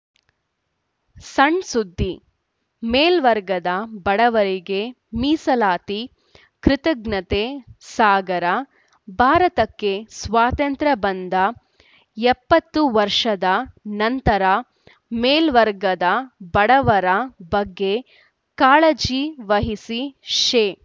ಸಣ್‌ಸುದ್ದಿಮೇಲ್ವರ್ಗದ ಬಡವರಿಗೆ ಮೀಸಲಾತಿ ಕೃತಜ್ಞತೆ ಸಾಗರ ಭಾರತಕ್ಕೆ ಸ್ವಾತಂತ್ರ್ಯ ಬಂದ ಎಪ್ಪತ್ತು ವರ್ಷದ ನಂತರ ಮೇಲ್ವರ್ಗದ ಬಡವರ ಬಗ್ಗೆ ಕಾಳಜಿ ವಹಿಸಿ ಶೇ